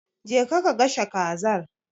Je ka ka gasha Kazar.